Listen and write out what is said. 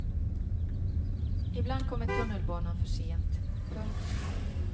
I bland kommer tunnelbanan för sent. punkt